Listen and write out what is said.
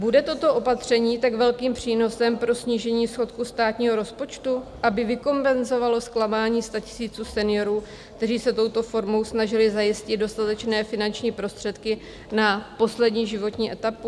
Bude toto opatření tak velkým přínosem pro snížení schodku státního rozpočtu, aby vykompenzovalo zklamání statisíců seniorů, kteří se touto formou snažili zajistit dostatečné finanční prostředky na poslední životní etapu?